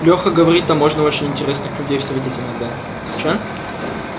леха говорит там можно очень интересных людей встретить иногда